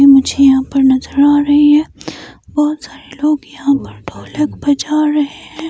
मुझे यहां पर नज़र आ रहे हैं बहोत सारे लोग यहां पर ढोलक बजा रहे हैं।